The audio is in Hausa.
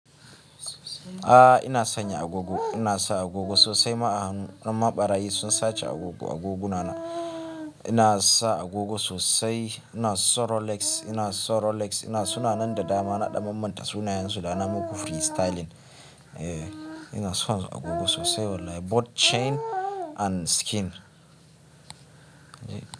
A ina sanya agogo, ina sa agogo sosai. Ma ahannu, don ma barayi sun sace agogo agogunana. Ina sa agogo sosai. Ina son Rolex, ina son Rolex. Ina suna nan da dama naɗan mammanta sunayensu da na muku freestyling. Eh ina son agogo sosai wallahi. Both chain and skin.